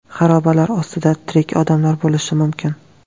Xarobalar ostida tirik odamlar bo‘lishi mumkin.